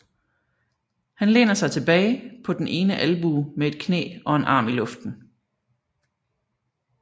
Han læner sig tilbage på den ene albue med et knæ og en arm i luften